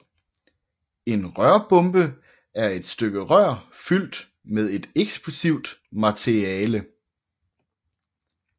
En rørbombe er et stykke rør fyldt med et eksplosivt materiale